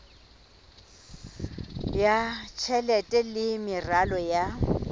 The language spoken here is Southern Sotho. ya tjhelete le meralo ya